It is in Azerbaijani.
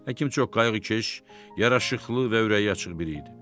Həkim çox qayğıkeş, yaraşıqlı və ürəyi açıq biri idi.